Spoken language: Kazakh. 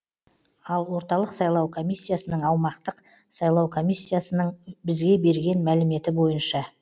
ал орталық сайлау комиссиясының аумақтық сайлау комиссиясының бізге берген мәліметі бойынша